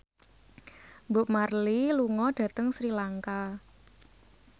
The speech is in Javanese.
Bob Marley lunga dhateng Sri Lanka